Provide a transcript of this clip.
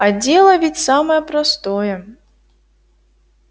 а дело ведь самое простое